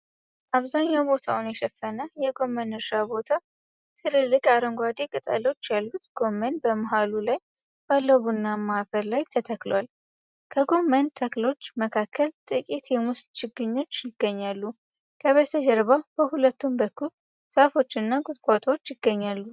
አብዛኛው ቦታውን የሸፈነ የጎመን እርሻ ቦታ። ትልልቅ አረንጓዴ ቅጠሎች ያሉት ጎመን በመሃሉ ላይ ባለው ቡናማ አፈር ላይ ተተክሏል። ከጎመን ተክሎች መካከል ጥቂት የሙዝ ችግኞች ይገኛሉ። ከበስተጀርባ በሁለቱም በኩል ዛፎች እና ቁጥቋጦዎች ይገኛሉ።